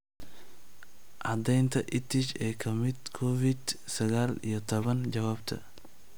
Caddeynta EdTech ee ka timid Covid sagaal iyo tobbaan Jawaabta.